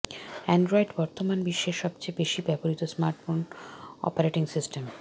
Android বর্তমান বিশ্বের সবচেয়ে বেশি ব্যবহৃত স্মার্টফোন অপারেটিং সিস্টেম